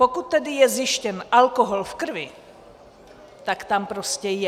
Pokud je tedy zjištěn alkohol v krvi, tak tam prostě je.